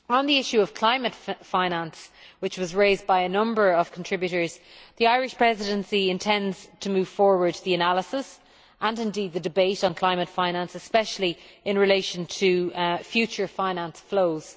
On the issue of climate finance, which was raised by a number of contributors, the Irish Presidency intends to move forward the analysis, and indeed the debate, on climate finance, especially in relation to future finance flows.